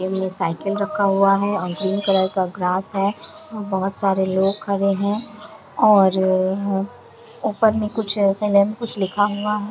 इनमे साइकिल रखा हुआ है और ग्रीन कलर का ग्रास है और बहुत सारे लोग खड़े है और ऊपर में कुछ कुछ लिखा हुआ है।